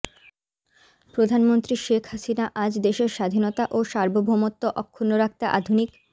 প্রধানমন্ত্রী শেখ হাসিনা আজ দেশের স্বাধীনতা ও সার্বভৌমত্ব অক্ষুণ্ন রাখতে আধুনিক